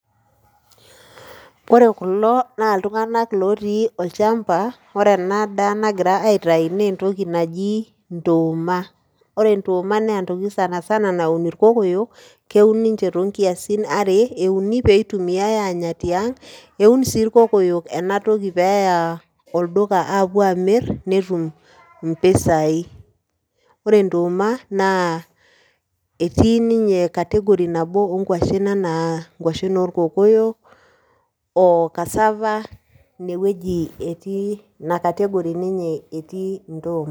Ore kulo naa iltunganak otii olchamba , ore ena daa nagira aitayu naa entoki naji ntooma . Ore ntooma sanasana naa ntokitin naun irkokoyo, keun ninche too nkiasin are , euni pee eitumia tiang, eun sii irkokoyo ena toki peya olduka apuo amir netum impisai . Ore ntooma naa etii ninye category nabo onkwashen anaa inkwashen orkokoyo, cassava , aa ine wueji etii ,ina category ninye etii entooma